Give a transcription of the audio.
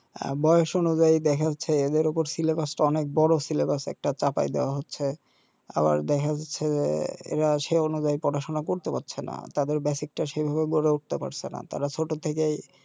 আর বয়স অনুযায়ী দেখা যাচ্ছে এদের উপর টা অনেক বড় একটা চাপায় দেয়া হচ্ছে আবার দেখা যাচ্ছে এরা সে অনুযায়ী পড়াশোনা করতে পারছেনা তাদের টা সেভাবে গড়ে উঠতে পারছেনা তারা ছোট থেকেই